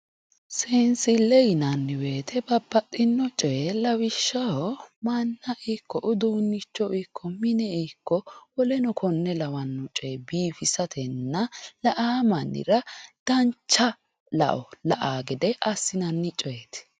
seensille yinanni wote babbaxino coye lawishshaho manna ikko uduunnicho ikko mine ikko woleno konne lawanno coye biifisatenna la'aa mannira dancha lao la''aa gede assinanni coyeeti.